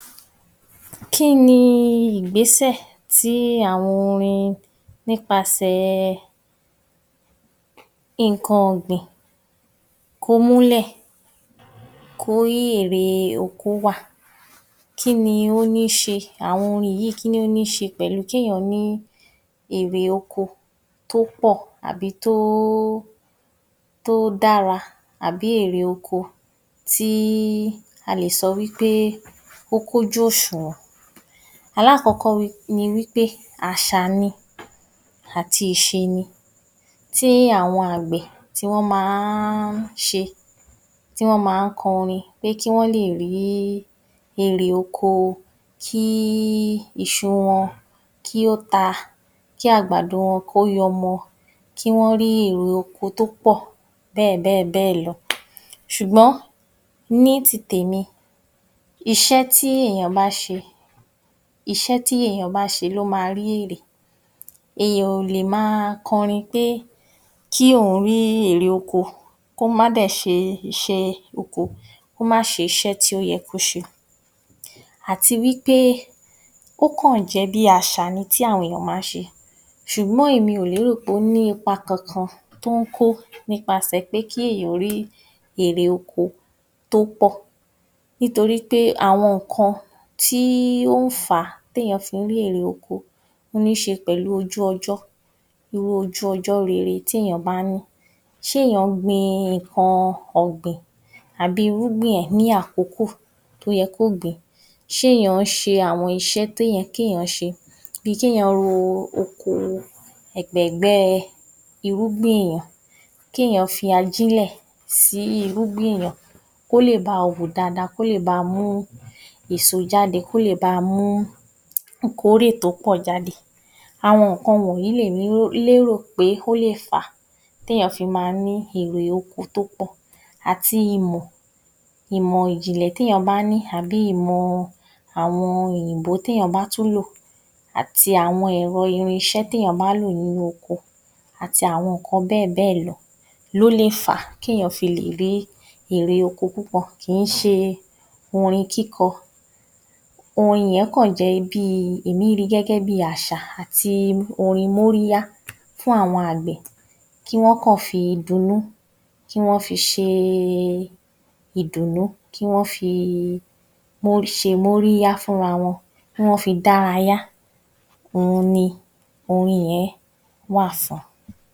Kí ni ìgbésẹ̀ tí àwọn orin nípasẹ̀ ẹ nǹkan ọ̀gbìn kó mú lẹ̀ kó kí èrè oko wà kí ni ó ní ṣe àwọn orin yíì kí ni ó ní ṣe pẹ̀lú kí èyán ní èrè oko tó pọ̀ àbí tó ó dára àbí èrè oko tí a lè sọ wí pé ó kún ojú òṣùwọ̀n. Alákọ́kọ́ ni wí pé àṣà ni àti iṣé ni tí àwọn àgbẹ̀ tí wọ́n ma ń ṣe tí wọ́n ma ń kọrin pé kí wọ́n lè rí èrè oko kí í iṣu wọn kí ó ta kí àgbàdo wọn ó yọmọ kí wọ́n rí èrè oko tó pọ̀ bẹ́ẹ̀bẹ́ẹ̀bẹ́ẹ̀lọ sùgọ́n ní ti tèmi iṣẹ́ tí èyàn bá ṣe, iṣẹ́ tí èyàn bá ṣe ló ma rí èrè èyàn ò lè ma kọrin pé kí òhun rí èrè oko kó má dè sé ṣe iṣẹ́ oko, kó má se isẹ́ tí ó yẹ kó ṣe àti wí pé ó kàn jẹ́ pé ó kàn jẹ́ bí àṣà ni tí àwọn èyàn ma ń ṣe, sùgbọ́n èmi ò lé rò pé ó ní ipa kankan tó ń kó nípasẹ̀ pẹ́ kí èyàn ó rí èrè oko tó pọ̀ nítorí pé àwọn ǹkan tí ó fà á tẹ́ yàn fi ń rí èrè oko níse pẹ̀lú ojú ọjọ́ irú ojú ọjọ́ irú ojú ọjọ́ rere té yàn bá ní sé èyàn gbin ǹkan ọ̀gbìn àbí irúgbìn ẹ̀ ní àkókò tó yẹ kó gbìn, ṣé èyàn ṣe àwọn iṣẹ́ tó yẹ ké yàn ṣe bi kẹ́ yàn ro oko ẹ̀gbẹ̀gbẹ́ irúgbìn ké yàn fi ajílẹ̀ sí irúgbìn èyàn kó lè bá a wù dada kó lè ba mú èso jáde, kó lè ba mú ìkórè tó ọ jáde àwọn nǹkan wọ̀nyí lè mí rò pé ó lérò pé ó lè fa téyàn fi ma ní èrè oko tó pọ̀ àti ìmò, ìmò ìjìnlẹ̀ té yàn bá ní àbí ìmọ àwọn òyìnbó té yàn bá tún lò àti àwọn ẹ̀rọ irinṣẹ́ té yàn bá lò nínú oko àti àwọn ǹkan bẹ́ẹ̀bẹ́ẹ̀lọ ló lè fà ké yàn fi lè rí èrè oko púpọ̀ kíì ṣe orin kíkọ, orin yẹn kàn jẹ́ bíi, èmí ri gẹ́gẹ́ bí àṣà àti orin mórí yá fún àwọn àgbẹ̀ kí wọ́n kàn fi dun nú, kí wọ́n fi ṣe e ìdùn nú, kí wọ́n fi ṣe mórí yá fún ra wọn, kí wọ́n fi dára yá òhun ni orin yẹn wà fún.